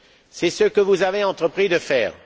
C'est ce que vous avez entrepris de faire.